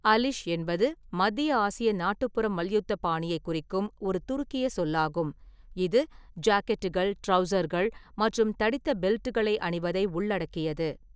அலிஷ் என்பது மத்திய ஆசிய நாட்டுப்புற மல்யுத்த பாணியைக் குறிக்கும் ஒரு துருக்கிய சொல்லாகும், இது ஜாக்கெட்டுகள், ட்ரவுசர்கள் மற்றும் தடித்த பெல்ட்டுகளை அணிவதை உள்ளடக்கியது.